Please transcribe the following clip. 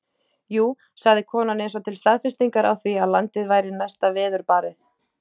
Jú, sagði konan eins og til staðfestingar á því að landið væri næsta veðurbarið.